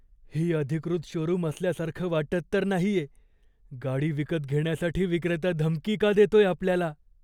ही अधिकृत शोरूम असल्यासारखं वाटत तर नाहीये. गाडी विकत घेण्यासाठी विक्रेता धमकी का देतोय आपल्याला?